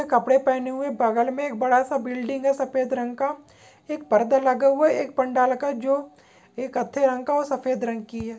कपड़े पहने हुए बगल में एक बड़ा सा बिल्डिंग है सफ़ेद रंग का एक पर्दा लगा हुआ एक पंडाल का जो एक कत्थे रंग का और सफ़ेद रंग की है।